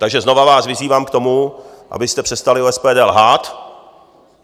Takže vás znovu vyzývám k tomu, abyste přestali o SPD lhát.